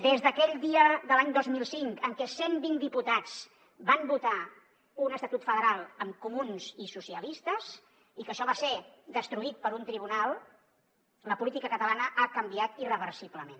des d’aquell dia de l’any dos mil cinc en què cent vint diputats van votar un estatut federal amb comuns i socialistes i que això va ser destruït per un tribunal la política catalana ha canviat irreversiblement